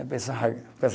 A pessoa rasga